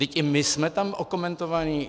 Vždyť i my jsme tam okomentovaní.